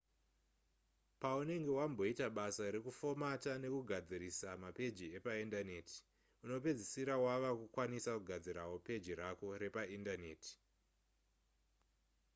paunenge wamboita basa rekufomata nekugadzisira mapeji epaindaneti unozopedzisira wava kukwanisa kugadzirawo peji rako repaindaneti